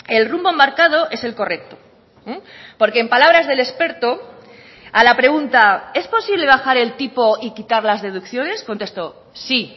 el rumbo marcado es el correcto porque en palabras del experto a la pregunta es posible bajar el tipo y quitar las deducciones contestó sí